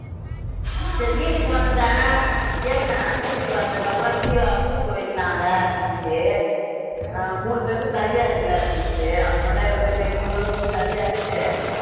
சரி வீட்டுக்கு வந்தேன். கேளுங்க வீட்டுக்கு வந்ததுக்கு அப்புறம் ஜீவா soup வைக்கலாம்ல அப்படின்னுச்சி ஆஹ் மூணு பேருக்கு சளியா இருக்குல்ல அப்படின்னுட்டுச்சி அப்புறமேட்டு இவர்ட்ட சரி மூணு பேரும் ரொம்ப சளியா இருக்குது